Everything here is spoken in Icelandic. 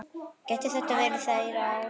Gæti þetta verið þeirra ár?